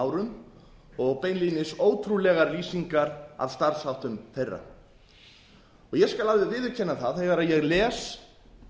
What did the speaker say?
árum og beinlínis ótrúlegar lýsingar af starfsháttum þeirra ég skal alveg viðurkenna það að þegar ég les